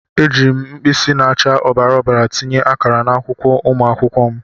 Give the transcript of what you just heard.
Ejiiri m mkpịsị na-acha ọbara ọbara tinye akara n'akwụkwọ ụmụ akwụkwọ m.